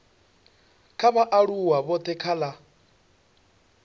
kha vhaaluwa vhothe kha la